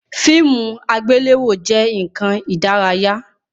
Fíìmù àgbéléwò jẹ nkan ìdárayá